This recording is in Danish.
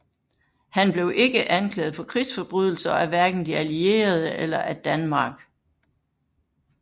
Han blev ikke anklaget for krigsforbrydelser af hverken de allierede eller af Danmark